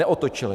Neotočili.